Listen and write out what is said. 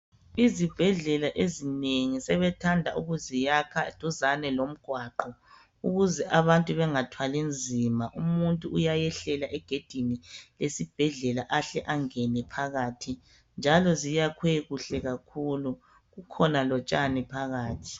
Izibhedlela ezinengi sebethanda ukuziyakha duzane lomgwaqo ukuse abantu bengathwali nzima umuntu uyayehlela egedini lesibhedlela ahle angene phakathi njalo ziyakhwe kuhle kakhulu kukhona lotshani phakathi.